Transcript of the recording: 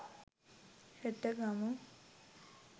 හෙට ගමු